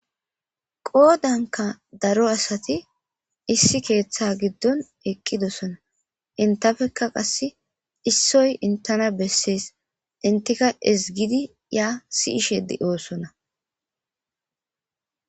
qoodanka daro asati issi keeththa giddon eqqidosona intafekka qasse issoy intana bessees intika ezgidi ya si'ishe de'oosona